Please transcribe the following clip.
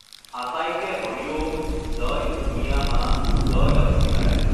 আটাইকে হৰি ঔঁম, জয় উমিয়া মা, জয় লক্ষ্মীনাৰায়ণ!